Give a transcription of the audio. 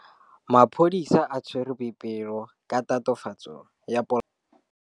Maphodisa a tshwere Boipelo ka tatofatsô ya polaô.